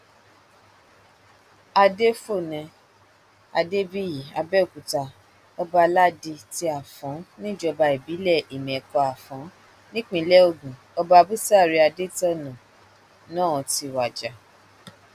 adéfòne adébíyí àbẹòkúta ọbaládi ti afọn níjọba ìbílẹ ìmẹkọafọn nípínlẹ ogun ọba búsárì adétọnà náà ti wájà